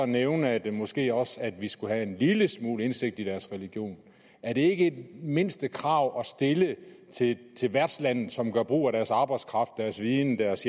nævne at vi måske også skulle have en lille smule indsigt i deres religion er det ikke et mindstekrav at stille til til værtslandet som gør brug af deres arbejdskraft deres viden deres